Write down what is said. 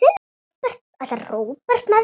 Ætlar Róbert með þér?